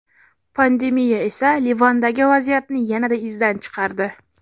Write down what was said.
Pandemiya esa Livandagi vaziyatni yanada izdan chiqardi.